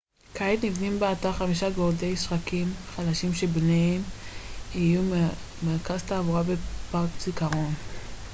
כעת נבנים באתר חמישה גורדי שחקים חדשים שביניהם יהיו מרכז תעבורה ופארק זיכרון